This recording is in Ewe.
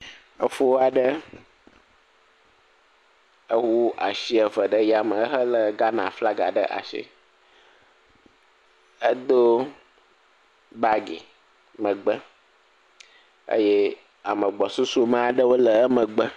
Efo aɖe ewu asi eve ɖe yame hele ghana flagi ɖe asi. Edo bagi, megbe eye ame gbɔsusu aɖe le emegbe.